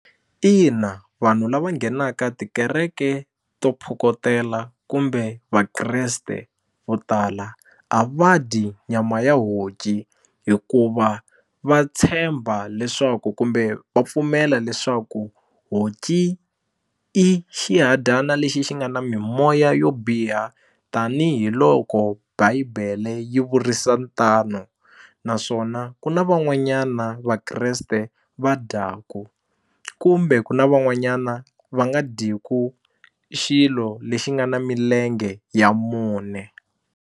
Ina vanhu lava nghenaka tikereke to phokotela kumbe Vakreste vo tala a va dyi nyama ya honci hikuva va tshemba leswaku kumbe va pfumela leswaku honci i xihadyana lexi xi nga na mimoya yo biha tanihiloko bible yi vurisa tano naswona ku na van'wanyana na Vakreste va dyaku kumbe ku na van'wanyana va nga dyeku xilo lexi nga na milenge ya mune.